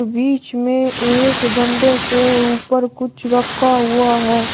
बीच में एक डंडे के ऊपर कुछ रखा हुआ है।